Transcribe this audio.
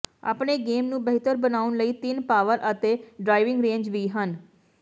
ਆਪਣੇ ਗੇਮ ਨੂੰ ਬਿਹਤਰ ਬਣਾਉਣ ਲਈ ਤਿੰਨ ਪਾਵਰ ਅਤੇ ਡ੍ਰਾਈਵਿੰਗ ਰੇਂਜ ਵੀ ਹਨ